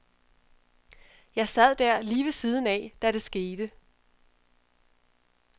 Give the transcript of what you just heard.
Jeg sad der lige ved siden af, da det skete.